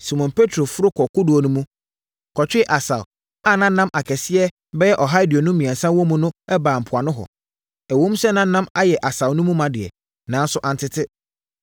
Simon Petro foro kɔɔ kodoɔ no mu kɔtwee asau a na nam akɛseɛ bɛyɛ ɔha aduonum mmiɛnsa wɔ mu no baa mpoano hɔ. Ɛwom sɛ na nam ayɛ asau no ma deɛ, nanso antete.